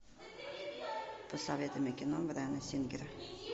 посоветуй мне кино брайана сингера